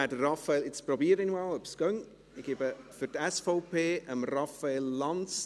Ich habe momentan keine Ahnung weshalb.